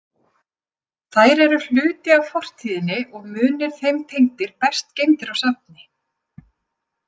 Þær eru hluti af fortíðinni og munir þeim tengdir best geymdir á safni.